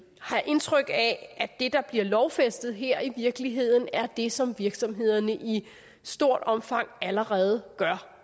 har indtryk af at det der bliver lovfæstet her i virkeligheden er det som virksomhederne i stort omfang allerede gør